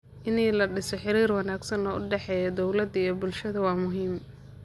In la dhiso xiriir wanaagsan oo u dhexeeya dowladda iyo bulshada waa muhiim.